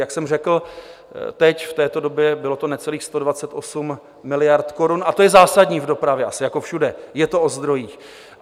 Jak jsem řekl, teď v této době bylo to necelých 128 miliard korun, a to je zásadní v dopravě, asi jako všude - je to o zdrojích.